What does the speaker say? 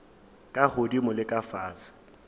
ka godimo le ka fase